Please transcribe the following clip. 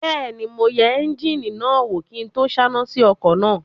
Bẹ́ẹ̀ni, mo yẹ éúnjínì náà wò kí n tó sáná sí ọkọ̀ náà